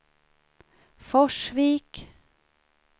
Forsvik